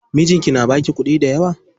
Mijinki na baki kuɗi dayawa?